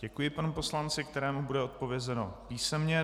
Děkuji panu poslanci, kterému bude odpovězeno písemně.